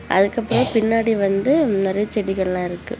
அதுக்கப்ரோ பின்னாடி வந்து நெறய செடிகள்லாம் இருக்கு.